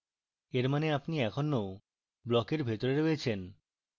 এর means আপনি এখনো ব্লকের ভিতরে রয়েছেন